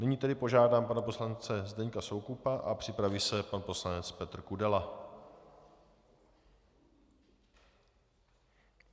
Nyní tedy požádám pana poslance Zdeňka Soukupa a připraví se pan poslanec Petr Kudela.